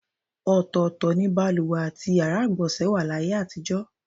Ò̩tò̩ò̩tò̩ ni baluwè àti yàrá ìgbò̩nsè̩ wà láyé àtijò̩.